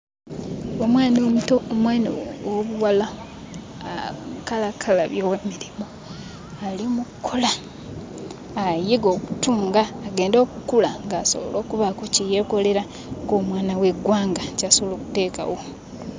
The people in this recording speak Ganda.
Omwana omuto, omwana ow'obuwala akalakkalabya emirimu. Ali mu kkola, ayiga okutunga agende okkula ng'asobola okubaako kye yeekolera ng'omwana w'eggwanga ky'asobola okuteekawo.